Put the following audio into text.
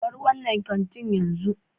Bar wannan kantin yanzu.